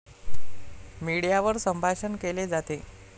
मीडियावर संभाषण केले जाते.